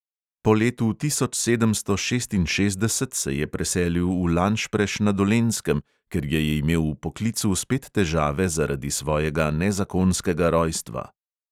Po letu tisoč sedemsto šestinšestdeset se je preselil v lanšpreš na dolenjskem, ker je imel v poklicu spet težave zaradi svojega nezakonskega rojstva.